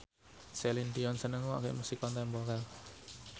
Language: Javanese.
Celine Dion seneng ngrungokne musik kontemporer